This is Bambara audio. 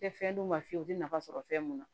Tɛ fɛn d'u ma fiyewu u tɛ nafa sɔrɔ fɛn mun na